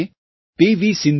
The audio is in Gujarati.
આ મહિને પી